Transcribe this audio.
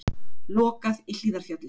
Lokað í Hlíðarfjalli